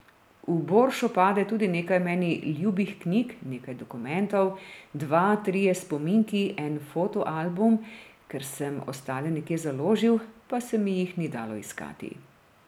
V boršo pade tudi nekaj meni ljubih knjig, nekaj dokumentov, dva, trije spominki, en foto album, ker sem ostale nekje založil, pa se mi jih ni dalo iskati.